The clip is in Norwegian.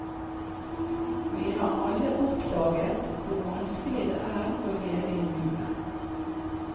Vi har alle oppdaget hvor vanskelig det er å leve i nuet.